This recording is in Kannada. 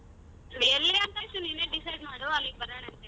ಎಲ್ಲಿ ಅಂತ ನೀನೇ decide ಮಾಡು ಅಲ್ಲಿಗ್ ಬರೋಣಂತ್ತೆ.